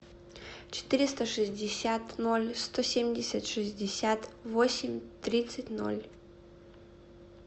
четыреста шестьдесят ноль сто семьдесят шестьдесят восемь тридцать ноль